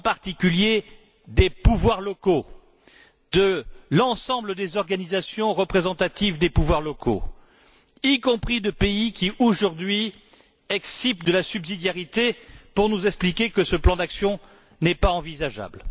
celui des pouvoirs locaux, de l'ensemble des organisations représentatives des pouvoirs locaux, y compris de pays qui, aujourd'hui, excipent de la subsidiarité pour nous expliquer que ce plan d'action n'est pas envisageable.